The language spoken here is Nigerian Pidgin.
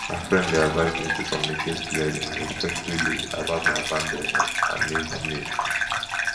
my friend dey advise me to communicate clearly and respectfully about my boundaries and needs needs